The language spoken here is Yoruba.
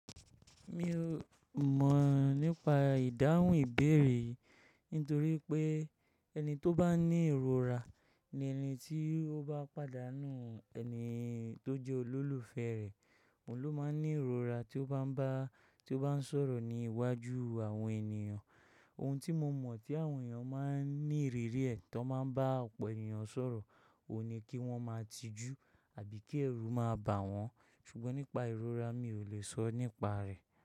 Mi ò mọ̀ nípa ìdáhùn ìbéèrè yi nítorí pé ẹni tó bá ní ìrora ni ẹni tí ó bá pàdánù ẹni tó jẹ́ olólùfẹ́ rẹ̀, òun ló máa ń ní ìrora tí ó bá ń bá tí ó bá ń sọ̀rọ̀ ní iwájú àwọn ènìyàn. Ohun tí mo mọ̀ tí àwọn èèyàn máa ń ní ìrírí ẹ̀ tán máa ń bá ọ̀pọ̀ ènìyàn sọ̀rọ̀ ò ní kí wọ́n máa tijú àbí kí ẹ̀rù máa bà wọ́n ṣùgbọ́n nípa ìrora mi ò lè sọ nípa rẹ̀.